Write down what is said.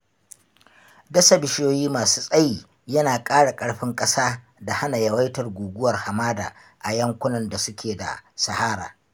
Dasa bishiyoyi ma su tsayi yana ƙara ƙarfin ƙasa da hana yawaitar guguwar hamada a yankunan da su ke da sahara.